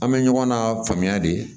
An bɛ ɲɔgɔn na faamuya de